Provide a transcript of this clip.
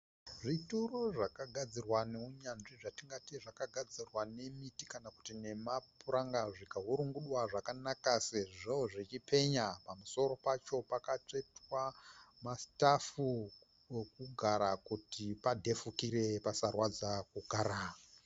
Zvituro zvakagadzirwa nounyanzvi zvitingati zvakagadzirwa nemiti kana kuti nemapuranga zvikaurungudwa zvakanaka sezvo zvichipenya. Pamusoro pacho pakatsvetwa masitafu okugara kuti padhefukire pasarwadza kugara.